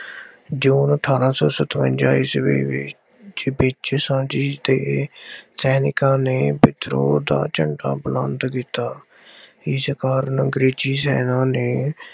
ਜੂਨ ਅਠਾਰਾਂ ਸੌ ਸਤਵੰਜ਼ਾ ਈਸਵੀ ਵਿੱਚ ਵਿੱਚ ਝਾਂਸੀ ਦੇ ਸੈਨਿਕਾਂ ਨੇ ਵਿਦਰੋਹ ਦਾ ਝੰਡਾ ਬੁਲੰਦ ਕੀਤਾ। ਇਸ ਕਾਰਨ ਐਗਰੇਜ਼ੀ ਸੈਨਾ ਨੇ